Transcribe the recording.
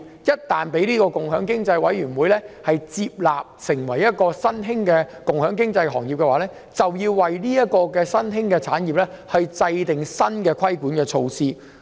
若共享經濟委員會界定某行業為共享經濟新興行業，便要為該新興產業制訂新的規管措施。